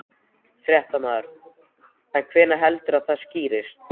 Fréttamaður: En hvenær heldurðu að það skýrist?